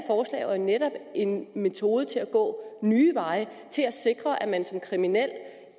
netop en metode til at gå nye veje og til at sikre at man som kriminel